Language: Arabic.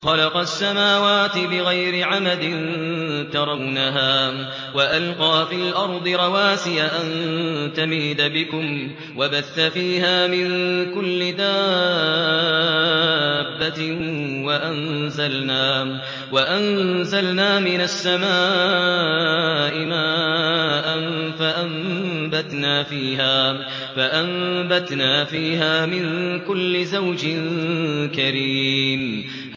خَلَقَ السَّمَاوَاتِ بِغَيْرِ عَمَدٍ تَرَوْنَهَا ۖ وَأَلْقَىٰ فِي الْأَرْضِ رَوَاسِيَ أَن تَمِيدَ بِكُمْ وَبَثَّ فِيهَا مِن كُلِّ دَابَّةٍ ۚ وَأَنزَلْنَا مِنَ السَّمَاءِ مَاءً فَأَنبَتْنَا فِيهَا مِن كُلِّ زَوْجٍ كَرِيمٍ